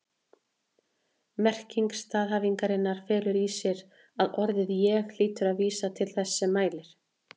Merking staðhæfingarinnar felur í sér að orðið ég hlýtur að vísa til þess sem mælir.